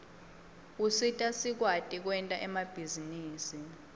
usita sikwati kwenta emabhizinisi